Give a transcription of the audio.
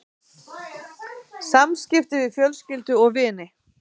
SAMSKIPTI VIÐ FJÖLSKYLDU OG VINI